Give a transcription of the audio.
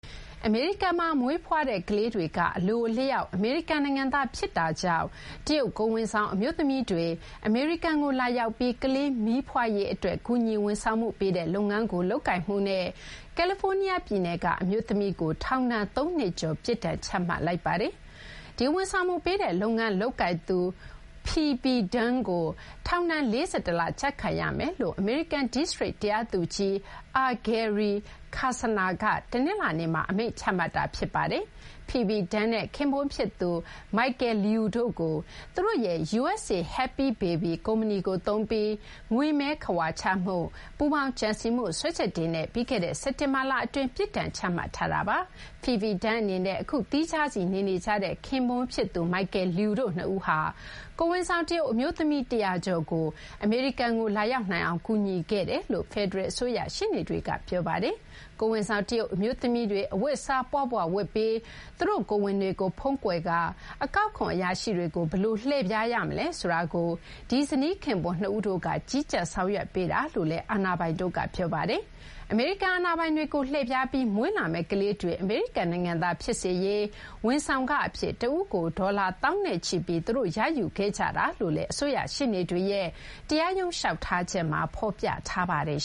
အမေရိကန်မှာ မွေးဖွားတဲ့ ကလေးတွေက အလိုအလျောက် အမေရိကန်နိုင်ငံသား ဖြစ်တာကြောင့် တရုတ် ကိုယ်ဝန်ဆောင် အမျိုးသမီးတွေ အမေရိကန်ကို လာရောက်ပြီး ကလေးမီးဖွားရေးအတွက် ကူညီ ဝန်ဆောင်မှုပေးတဲ့လုပ်ငန်း လုပ်ကိုင်မှုနဲ့ ကယ်လီဖိုးနီးယားပြည်နယ်က အမျိုးသမီးကို ထောင်ဒဏ် ၃ နှစ်ကျော် ပြစ်ဒဏ်ချမှတ်လိုက်ပါတယ်။ ဒီဝန်ဆောင်မှုပေးတဲ့ လုပ်ငန်းလုပ်ကိုင်သူ Phoebe Dong ကို ထောင်ဒဏ် ၄၁ လ ကျခံရမယ်လို့ အမေရိကန် ဒိစတြိတ်တရားသူကြီး R. Gary Klausner က တနင်္လာနေ့မှာ အမိန့်ချမှတ်ခဲ့တာပါ။ Phoebe Dong နဲ့ ခင်ပွန်း ဖြစ်သူ Michael Lui တို့ကို သူတို့ရဲ့ USA Happy Baby ကုမ္ပဏီကို သုံးပြီး ငွေမဲခဝါချမှု၊ ပူးပေါင်းကြံစည်မှု စွဲချက်တွေနဲ့ ပြီးခဲ့တဲ့ စက်တင်ဘာလ အတွင်း ပြစ်ဒဏ်ချမှတ်ခံရတာပါ။ Phoebe Dong နဲ့ အခုသီးခြားစီနေနေကြတဲ့ ခင်ပွန်းဖြစ်သူ Michael Liu တို့ နှစ်ဦးဟာ ကိုယ်ဝန်ဆောင် တရုတ် အမျိုးသမီး ၁၀၀ ကျော်ကို အမေရိကန်ကို လာရောက်နိုင်အောင် ကူညီခဲ့တယ်လို့ ဖယ်ဒရယ် အစိုးရ ရှေ့နေတွေကပြောပါတယ်။ ကိုယ်ဝန်ဆောင် တရုတ် အမျိုးသမီးတွေအဝတ်အစား ပွပွဝတ်ပြီး သူတို့ကိုယ်ဝန်တွေကို ဖုံးကွယ်ကာအကောက်ခွန်အရာရှိတွေကို ဘယ်လိုလှည့်ဖြားရမလဲ ဆိုတာကို ဒီဇနီး ခင်ပွန်း နှစ်ဦးတို့က ကြီးကြပ်ဆောင်ရွက်ပေးကြတာလို့လည်း အာဏာပိုင်တို့က ပြောပါတယ်။ အမေရိကန်အာဏာပိုင်တွေကို လှည့်ဖြားပြီး မွေးလာမယ့် ကလေးတွေ အမေရိကန် နိုင်ငံသား ဖြစ်စေရေး ဝန်ဆောင်ခ အဖြစ် တဦးကို ဒေါ်လာ သောင်းနဲ့ချီပြီး သူတို့က ရယူခဲ့ကြတယ်လို့လည်း အစိုးရ ရှေ့နေတွေရဲ့ တရားရုံး လျှောက်ထားချက်မှာ ဖော်ပြထားပါတယ်